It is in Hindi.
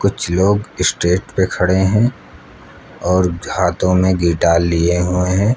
कुछ लोग स्टेज पे खड़े हैं और हाथों में गिटार लिए हुए हैं।